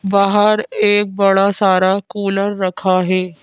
बाहर एक बड़ा सारा कूलर रखा है।